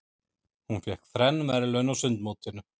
Hún fékk þrenn verðlaun á sundmótinu.